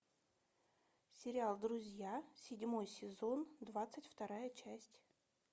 сериал друзья седьмой сезон двадцать вторая часть